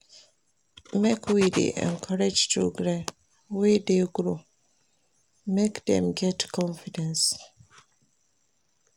Make we dey encourage children wey dey grow, make dem get confidence.